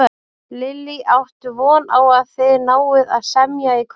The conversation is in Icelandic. Lillý: Áttu von á að þið náið að semja í kvöld?